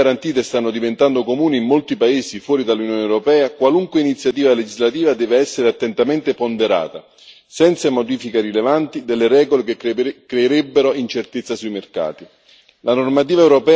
Oggi che le obbligazioni garantite stanno diventando comuni in molti paesi fuori dall'Unione europea, qualunque iniziativa legislativa deve essere attentamente ponderata, senza modifiche rilevanti delle regole, che creerebbero incertezza sui mercati.